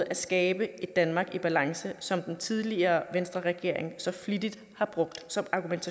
at skabe et danmark i balance som den tidligere regering venstreregeringen så flittigt har brugt som argument